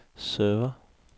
server